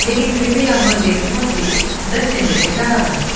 लेकिन फिर भी यह मंदिर बहुत ही में दिख रहा है ।